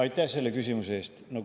Aitäh selle küsimuse eest!